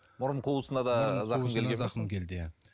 мұрын қуысына да зақым зақым келді иә